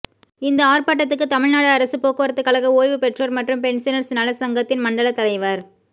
இந்த ஆா்ப்பாட்டத்துக்கு தமிழ்நாடு அரசுப் போக்குவரத்துக் கழக ஓய்வுபெற்றோா் மற்றும் பென்சனா்ஸ் நலச்சங்கத்தின் மண்டலத் தலைவா்